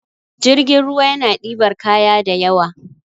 jirgin ruwa yana dibar kaya da ywa